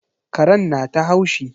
Karen na ta haushi.